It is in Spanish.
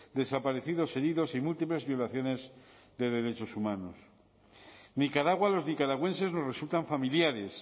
desaparecidos heridos y múltiples violaciones de derechos humanos nicaragua los nicaragüenses nos resultan familiares